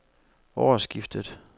årsskiftet